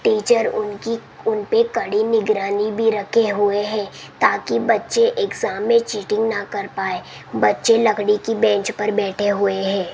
Teacher उनकी उनपे कड़ी निखरानी भी रखे हुए हैं ताकि बच्चे एग्जाम मे चीटिंग ना कर पाये बच्चे लकड़ी की बेंच पर बैठे हुए है।